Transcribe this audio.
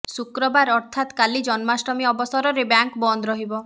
ଶୁକ୍ରବାର ଅର୍ଥାତ କାଲି ଜନମାଷ୍ଟମୀ ଅବସରରେ ବ୍ୟାଙ୍କ ବନ୍ଦ ରହିବ